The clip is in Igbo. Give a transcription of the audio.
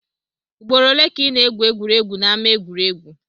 Ugboro ole ka ị na-egwu egwuregwu n'ama egwuregwu?